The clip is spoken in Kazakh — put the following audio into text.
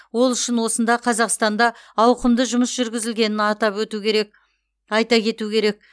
ол үшін осында қазақстанда ауқымды жұмыс жүргізілгенін атап кету керек айта кету керек